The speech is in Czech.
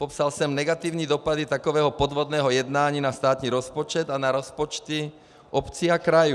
Popsal jsem negativní dopady takového podvodného jednání na státní rozpočet a na rozpočty obcí a krajů.